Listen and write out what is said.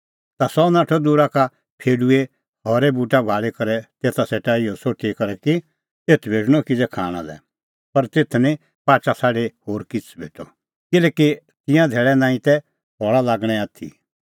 ता सह नाठअ दूरा का एकी फेडूए हरै बूटा भाल़ी करै तेता सेटा इहअ सोठी करै कि एथ भेटणअ किज़ै खाणां लै पर तेथ निं पाचा छ़ाडी होर किछ़ भेटअ किल्हैकि तिंयां धैल़ै नांईं तै फल़ा लागणें आथी